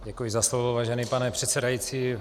Děkuji za slovo, vážený pane předsedající.